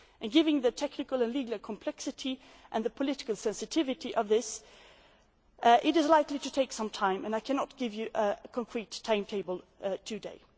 Given the technical and legal complexity and the political sensitivity of this, it is likely to take some time, and I cannot give you a concrete timetable today.